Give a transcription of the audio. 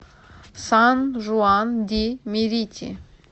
сан жуан ди мерити